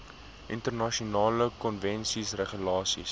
internasionale konvensies regulasies